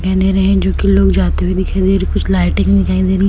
जोकि लोग जाते हुए दिखाई दे रहे हैं। कुछ लाइटिंग दिखाई दे रही--